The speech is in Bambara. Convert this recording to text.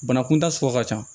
Bana kunta sugu ka ca